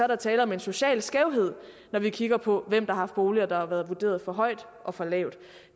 der tale om en social skævhed når vi kigger på hvem der har boliger der har været vurderet for højt og for lavt